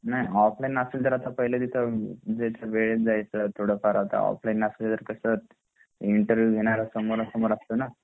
नाय ऑफलाइन ऐल तर पहिले तिथे वेळेत जायच थोडाफार जर ऑफलाइन असेल तर इंटरव्ह्यु घेणार समोरासमोर असतो ना